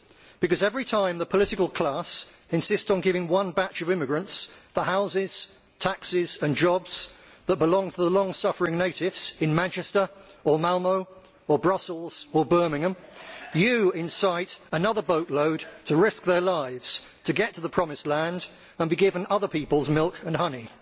Because every time the political class insists on giving one batch of immigrants the houses, taxes and jobs that belong to the long suffering natives in Manchester or Malmö or Brussels or Birmingham, you incite another boatload to risk their lives to get to the promised land and be given other peoples' milk and honey.